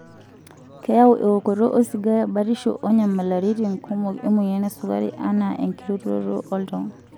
Keyau ewokoto osigara batisho oonyamalaritin kumok emoyian esukari anaa enkirutoto oltau .